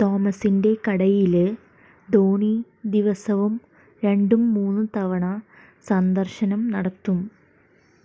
തോമസിന്റെ കടയില് ധോനി ദിവസവും രണ്ടും മൂന്നും തവണ സന്ദര്ശനം നടത്തും